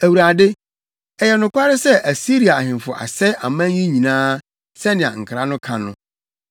“ Awurade, ɛyɛ nokware sɛ Asiria ahemfo asɛe aman yi nyinaa, sɛnea nkra no ka no.